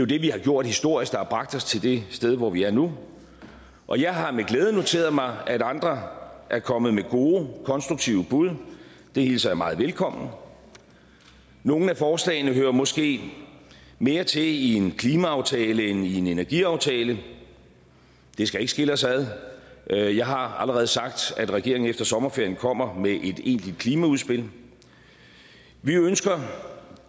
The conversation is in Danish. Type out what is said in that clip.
det vi har gjort historisk og som har bragt os til det sted hvor vi er nu og jeg har med glæde noteret mig at andre er kommet med gode konstruktive bud det hilser jeg meget velkommen nogle af forslagene hører måske mere til i en klimaaftale end i en energiaftale det skal ikke skille os ad jeg jeg har allerede sagt at regeringen efter sommerferien kommer med et egentligt klimaudspil vi ønsker